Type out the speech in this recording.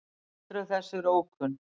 Tildrög þess eru ókunn.